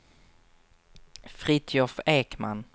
Fritiof Ekman